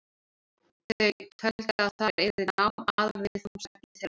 Þau töldu að þar yrði nám aðalviðfangsefni þeirra.